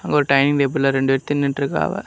அங்க ஒரு டைனிங் டேபிள்ல ரெண்டு பேர் தின்னுட்டு இருக்காவ.